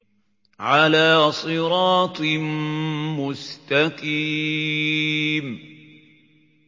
عَلَىٰ صِرَاطٍ مُّسْتَقِيمٍ